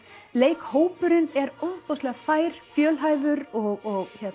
leikhópurinn er ofboðslega fær fjölhæfur og